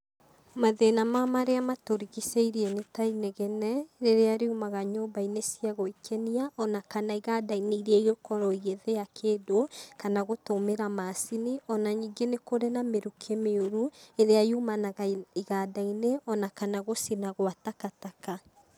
Mathĩna ma marĩa matũrigicĩirie nĩ ta; inegene rĩrĩa riumaga nyũmba-inĩ cia gũĩkenia o na kana iganda-inĩ irĩa ingĩkorwo igĩthĩa kĩndũ kana gũtũmĩra macini. O na ningĩ nĩ kũrĩ na mĩrukĩ mĩũru ĩrĩa yumanaga iganda-inĩ o na kana gũcina gwa takataka.